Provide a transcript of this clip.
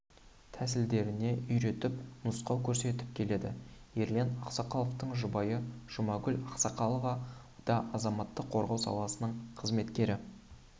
тәсілдеріне үйретіп нұсқау көрсетіп келеді ерлан ақсақаловтың жұбайы жұмагүл ақсақалова да азаматтық қорғау саласының қызметкері